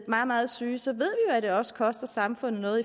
meget meget syge så ved at det også koster samfundet noget